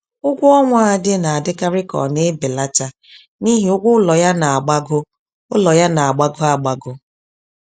Ụgwọọnwa Ade na-adịkarị ka ọ na-ebelata n'ihi ụgwọ ụlọ ya na-agbago ụlọ ya na-agbago agbago